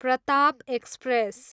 Pratap express